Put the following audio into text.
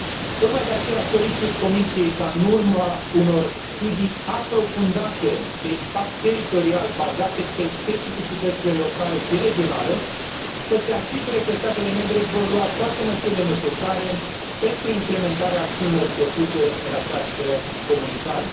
Tocmai de aceea, solicit Comisiei ca, în urma unor studii aprofundate de impact teritorial, bazate pe specificitățile locale și regionale, să se asigure că statele membre vor lua toate măsurile necesare pentru implementarea acțiunilor propuse în această comunicare.